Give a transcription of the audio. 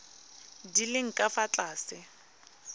di leng ka fa tlase